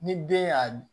Ni den y'a